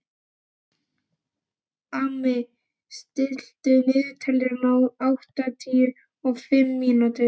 Amy, stilltu niðurteljara á áttatíu og fimm mínútur.